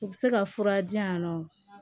U bɛ se ka fura di yan nɔ